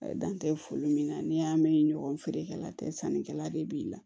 Dan tɛ foli min na n'i y'a mɛn ɲɔgɔn feerekɛla tɛ sannikɛla de b'i la